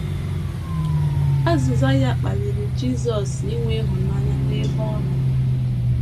Azịza ya kpaliri Jisọs inwe ịhụnanya n’ebe ọ nọ.